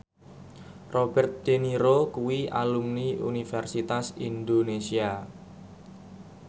Robert de Niro kuwi alumni Universitas Indonesia